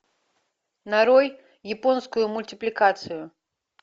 нарой японскую мультипликацию